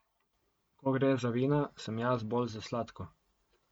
Ko gre za vina, sem jaz bolj za sladko.